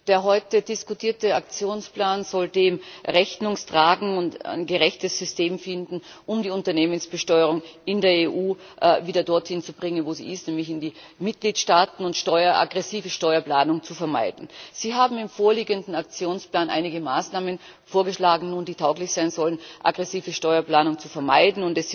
Der heute diskutierte Aktionsplan soll dem Rechnung tragen und ein gerechtes System finden, um die Unternehmensbesteuerung in der EU wieder dorthin zu bringen, wo sie ist, nämlich in die Mitgliedstaaten, und aggressive Steuerplanung zu vermeiden. Sie haben im vorliegenden Aktionsplan einige Maßnahmen vorgeschlagen, die tauglich sein sollen, aggressive Steuerplanung zu vermeiden.